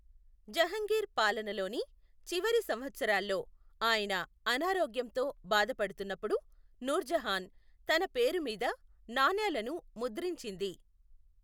జహంగీర్ పాలనలోని చివరి సంవత్సరాల్లో ఆయన అనారోగ్యంతో బాధపడుతున్నప్పుడు నూర్జహాన్ తన పేరు మీద నాణేలను ముద్రించింది.